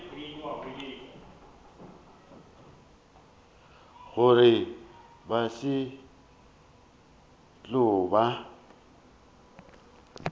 gore ba se tlo ba